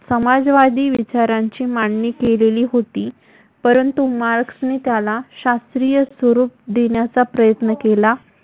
समाजवादी विचारांची मांडणी केलेली होती. परंतु, मार्क्सने त्याला शास्त्रीय स्वरूप देण्याचा प्रयत्न केला.